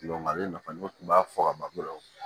ale nafa ne kun b'a fɔ ka ban ko